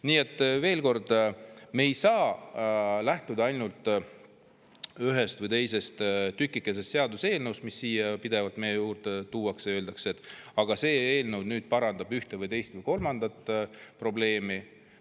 Nii et veel kord: me ei saa lähtuda ainult ühest või teisest tükikesest seaduseelnõus, mis siia pidevalt meie juurde tuuakse ja öeldakse, et aga see eelnõu parandab ühte või teist või kolmandat probleemi.